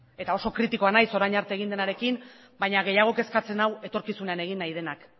eta oso kritikoa naiz orain arte egin denarekin baina gehiago kezkatzen nau etorkizunean egin nahi denak